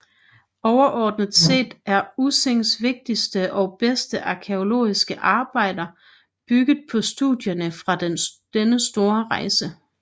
Overordnet set er Ussings vigtigste og bedste arkæologiske arbejder bygget på studierne fra denne store rejse